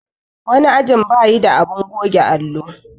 wani ajin bayi da abun goge allo.